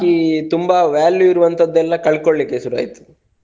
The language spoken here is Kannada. ತುಂಬಾ value ಇರುವಂತದೆಲ್ಲ ಕಳ್ಕೊಳ್ಳಿಕ್ಕೆ ಶುರು ಆಯ್ತು.